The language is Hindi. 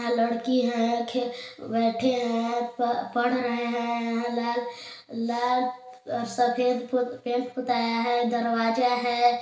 यहाँ लड़की है बैठे हैं पढ़ रहे हैं लाल सफेद पेंट पोताया है दरवाजा है।